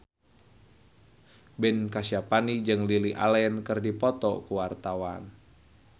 Ben Kasyafani jeung Lily Allen keur dipoto ku wartawan